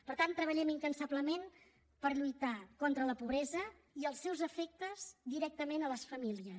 per tant treballem incansablement per lluitar contra la pobresa i els seus efectes directament a les famílies